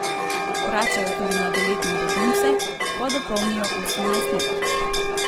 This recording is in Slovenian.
Vračajo tudi mladoletne begunce, ko dopolnijo osemnajst let.